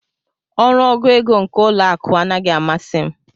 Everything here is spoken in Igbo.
Ọrụ ọgụ égo nke ụlọ akụ anaghị amasi m.